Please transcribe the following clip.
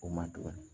O ma tugun